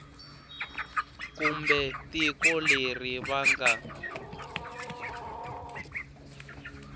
kumbe tiko leri va nga